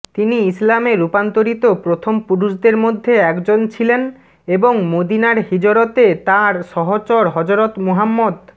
তিনি ইসলামে রূপান্তরিত প্রথম পুরুষদের মধ্যে একজন ছিলেন এবং মদিনার হিজরতে তাঁর সহচর হযরত মুহাম্মদ